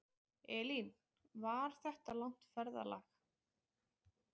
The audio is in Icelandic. Elín: Var þetta langt ferðalag?